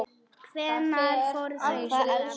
Hvenær fara þau? spurði amma.